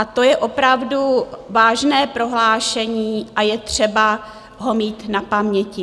A to je opravdu vážné prohlášení a je třeba ho mít na paměti.